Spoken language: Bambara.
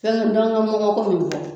Fɛnkɛ dɔnkɛ mɔgɔ ko min filɛ